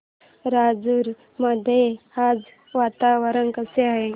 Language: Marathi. राजूर मध्ये आज वातावरण कसे आहे